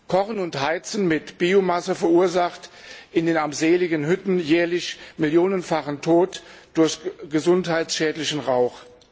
Kochen und Heizen mit Biomasse verursacht in den armseligen Hütten jährlich millionenfachen Tod durch gesundheitsschädlichen Rauch.